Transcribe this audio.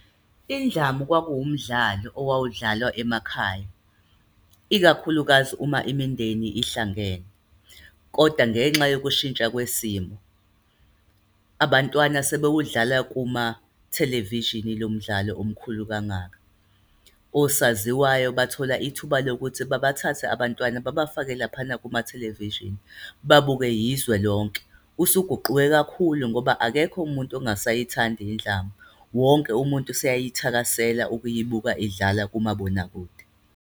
Indlamu kwakuwumdlalo owawudlalwa emakhaya, ikakhulukazi uma imindeni ihlangene. Kodwa ngenxa yokushintsha kwesimo, abantwana sebewudlala kumathelevishini lo mdlalo omkhulu kangaka. Osaziwayo bathola ithuba lokuthi babathathe abantwana, babafake laphana kumathelevishini. Babukwe yizwe lonke. Usuguquke kakhulu ngoba akekho umuntu ongasayithandi indlamu. Wonke umuntu useyayithakaselwe ukuyibuka idlala kumabonakude.